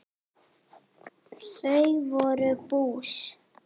Þau voru bús.